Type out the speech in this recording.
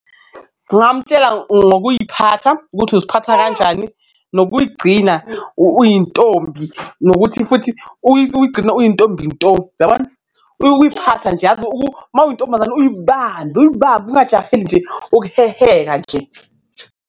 Ngamtshela ngokuy'phatha ukuthi uziphatha kanjani, nokuy'gcina uyintombi, nokuthi futhi uyigcina uyintombi nto, uyabona? Ukuyiphatha nje yazi , uma uyintombazane uyibambe uyibambe ungajaheli nje ukuheheka nje.